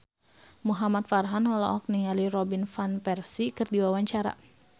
Muhamad Farhan olohok ningali Robin Van Persie keur diwawancara